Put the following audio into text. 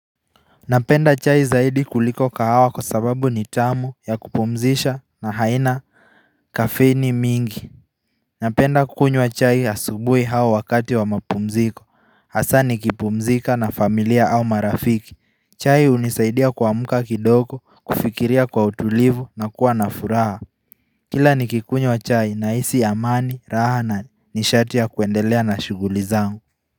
Napenda chai zaidi kuliko kahawa kwa sababu ni tamu, ya kupumzisha na haina Kafeini mingi Napenda kukunywa chai asubuhi au wakati wa mapumziko, hasa nikipumzika na familia au marafiki. Chai hunisaidia kuamka kidogo, kufikiria kwa utulivu na kuwa na furaha Kila nikikunywa chai nahisi amani raha na nishati ya kuendelea na shughuli zangu.